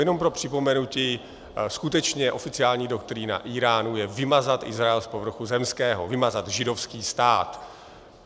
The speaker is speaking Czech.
Jenom pro připomenutí, skutečně, oficiální doktrína Íránu je vymazat Izrael z povrchu zemského, vymazat židovský stát.